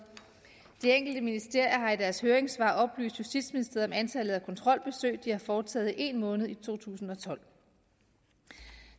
de enkelte ministerier har i deres høringssvar oplyst justitsministeriet om antallet af kontrolbesøg de har foretaget i én måned i to tusind og tolv